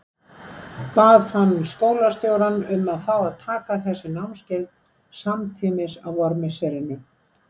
Bað hann skólastjórann um að fá að taka þessi námskeið samtímis á vormisserinu.